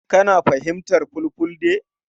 Kana fahimtar Fulfulde?